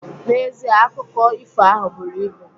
N'ezie, akụko ifo ahụ buru ibu.